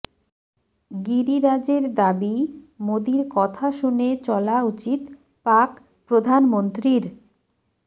গিরিরাজের দাবি মোদীর কথা শুনে চলা উচিত পাক প্রধানমন্ত্রীর